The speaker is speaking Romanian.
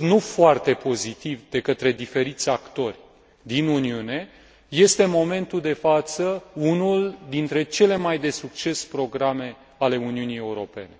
nu foarte pozitiv de către diferiți actori din Uniune, este în momentul de față unul dintre cele de mai succes programe ale Uniunii Europene.